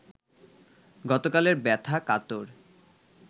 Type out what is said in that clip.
গতকালের ব্যথা-কাতর